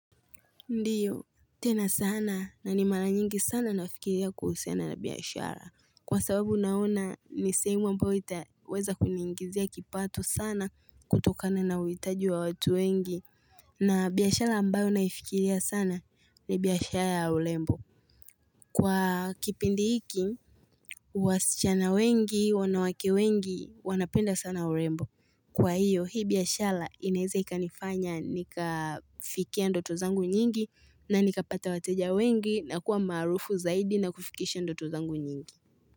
Ndiyo, tena sana na ni mara nyingi sana nafikiria kuhusiana na biashara Kwa sababu naona ni sehemu ambayo itaweza kuniingizia kipato sana kutokana na uhitaji wa watu wengi na biashara ambayo naifikiria sana ni biashara ya urembo Kwa kipindi hiki, wasichana wengi, wanawake wengi, wanapenda sana urembo Kwa hiyo hii biashala inaeza ikanifanya nikafikia ndoto zangu nyingi na nikapata wateja wengi na kuwa maarufu zaidi na kufikisha ndoto zangu nyingi.